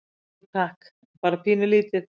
Jú, takk, en bara pínulítið.